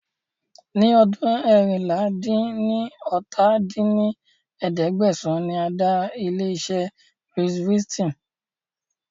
Ni ọdún eérinlá-dín-ní-ọ́ta dín ní ẹ̀ẹ́dẹ́gbẹ́sán ni a dá ilé iṣẹ́ Louis Vuitton